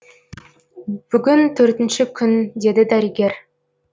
бүгін төртінші күн деді дәрігер